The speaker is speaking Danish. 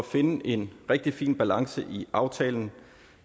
finde en rigtig fin balance i aftalen